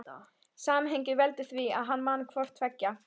Samhengið veldur því að hann man hvort tveggja.